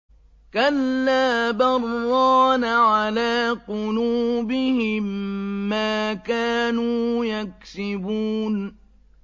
كَلَّا ۖ بَلْ ۜ رَانَ عَلَىٰ قُلُوبِهِم مَّا كَانُوا يَكْسِبُونَ